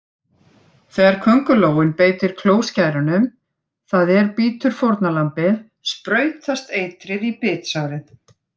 Þegar köngulóin beitir klóskærunum, það er bítur fórnarlambið, sprautast eitrið í bitsárið.